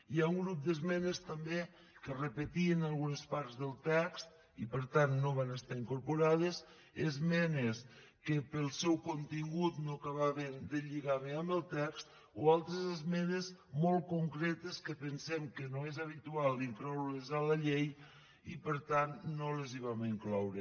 hi ha un grup d’esmenes també que repetien algunes parts del text i per tant no van estar incorporades esmenes que pel seu contingut no acabaven de lligar bé amb el text o altres esmenes molt concretes que pensem que no és habitual incloure les a la llei i per tant no les hi vam incloure